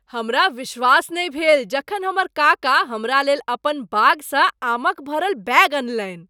हमरा विश्वास नहि भेल जखन हमर काका हमरा लेल अपन बागसँ आमक भरल बैग अनलनि।